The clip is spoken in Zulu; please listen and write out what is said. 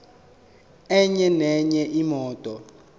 enye nenye imoto